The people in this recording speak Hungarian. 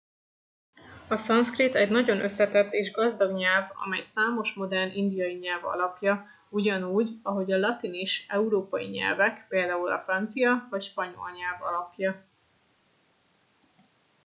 a szanszkrit egy nagyon összetett és gazdag nyelv amely számos modern indiai nyelv alapja ugyanúgy ahogy a latin is európai nyelvek például a francia vagy spanyol nyelv alapja